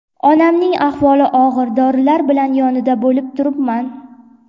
Onamning ahvoli og‘ir, dorilar bilan yonida bo‘lib turibman.